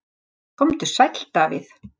Komdu sæll Davíð.